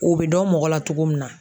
O bɛ dɔn mɔgɔ la cogo min na